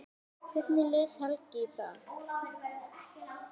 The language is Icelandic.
Hvernig les Helgi í það?